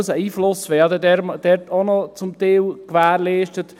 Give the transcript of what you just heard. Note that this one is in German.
Unser Einfluss wäre dort zum Teil auch noch gewährleistet.